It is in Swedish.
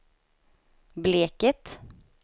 Bleket